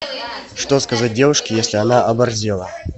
что сказать девушке если она оборзела